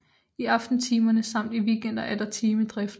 I aftentimerne samt i weekender er der timedrift